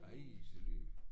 Ej det lyder